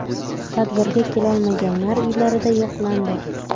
Tadbirga kelolmaganlar uylarida yo‘qlandi.